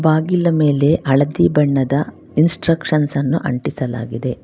ಬಾಗಿಲ ಮೇಲೆ ಹಳದಿ ಬಣ್ಣದ ಇನ್ಸ್ಟ್ರಕ್ಷನ್ ಅನ್ನು ಅಂಟಿಸಲಾಗಿದೆ.